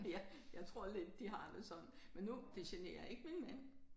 Ja jeg tror lidt de har det sådan. Men nu det generer ikke min mand